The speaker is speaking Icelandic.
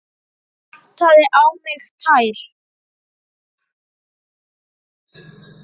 Vantaði á mig tær?